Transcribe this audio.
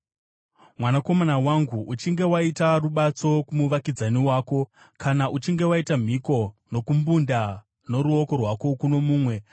Mwanakomana wangu, kana uchinge waita rubatso kumuvakidzani wako, kana uchinge waita mhiko nokumbunda noruoko rwako kuno mumwe,